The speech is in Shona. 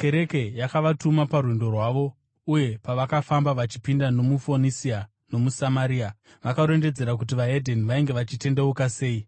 Kereke yakavatuma parwendo rwavo, uye pavakafamba vachipinda nomuFonisia nomuSamaria, vakarondedzera kuti veDzimwe Ndudzi vainge vachitendeuka sei.